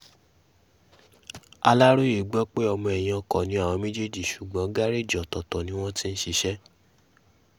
aláròye gbọ́ pé ọmọ ẹ̀yìn ọkọ ni àwọn méjèèjì ṣùgbọ́n gàrèèjì ọ̀tọ̀ọ̀tọ̀ ni wọ́n ti ń ṣiṣẹ́